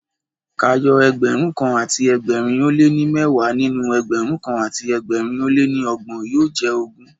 K'áyọ ẹgbẹ̀rúnkan àti ẹgbẹ̀rin ó lé ní mẹ́wàá nínú Ẹgbẹ̀rún kan àti ẹgbẹ̀rin ó lé ní ọgbọ̀n yóò jẹ́ ogún.